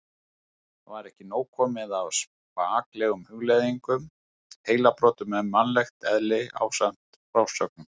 Var ekki komið nóg af spaklegum hugleiðingum, heilabrotum um mannlegt eðli ásamt frásögnum